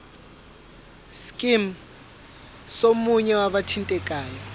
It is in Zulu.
scheme somunye wabathintekayo